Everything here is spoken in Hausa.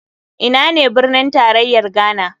Ina ne birnin tarayar ghana?